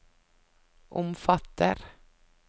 omfatter